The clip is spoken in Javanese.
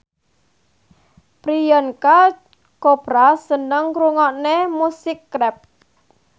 Priyanka Chopra seneng ngrungokne musik rap